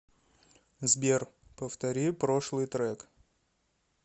сбер повтори прошлый трек